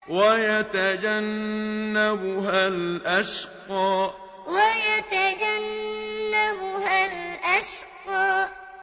وَيَتَجَنَّبُهَا الْأَشْقَى وَيَتَجَنَّبُهَا الْأَشْقَى